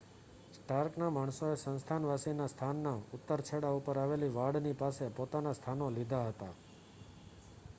સ્ટાર્કનાં માણસોએ સંસ્થાનવાસીનાં સ્થાનના ઉત્તર છેડા ઉપર આવેલી વાડની પાસે પોતાના સ્થાનો લીધા હતા